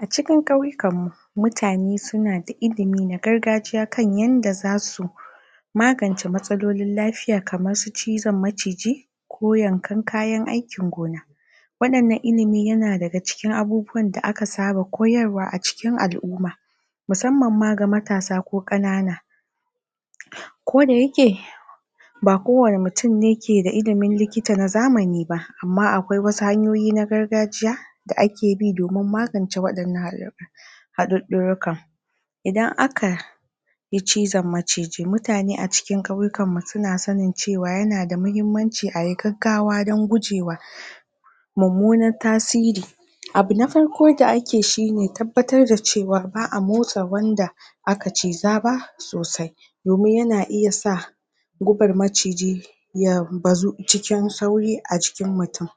A cikin ƙauyikan mu mutane suna da ilimi na gargajiya kan yanda za su magance matsalolin lafiya kamar su cizon maciji, ko yankan kayan aikin gona. Wannan na ilimi yana daga cikin abubuwan da aka saba koyarwa a cikin al'umma musamman ma ga matasa ko ƙanana ko da yake ba ko wane mutum ne keda ilimin likita na zamani ba amma akwai wasu hanyoyi na gargajiya da ake bi domin magance waɗannan haduddurrikan. Idan aka yi cion maciji mutane a cikin ƙauyikan mu suna sanin cewa yana da mahimmanci ayi gaggawa dan gujewa mummunan tasiri. Abu na farko da ake shine tabbatar da cewa ba'a motsa wanda aka ciza ba sosai. Domin yana iya sa gubar maciji ya bazu cikin sauri a jikin mutum.